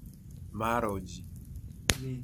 Maro chi.